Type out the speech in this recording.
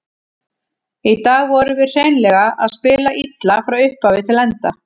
Í dag vorum við hreinlega að spila illa, frá upphafi til enda.